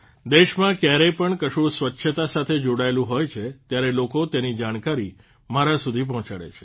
દેશમાં કયારેય પણ કશું સ્વચ્છતા સાથે જોડાયેલું હોય છે ત્યારે લોકો તેની જાણકારી મારા સુધી પહોંચાડે છે